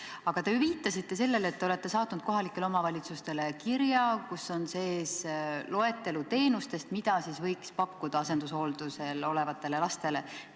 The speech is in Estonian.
Aga te ju viitasite sellele, et te olete saatnud kohalikele omavalitsustele kirja, kus on sees loetelu teenustest, mida võiks pakkuda asendushooldusel olevatele lastele.